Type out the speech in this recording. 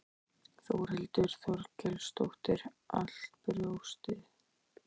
Þórhildur Þorkelsdóttir: Allt brjóstið?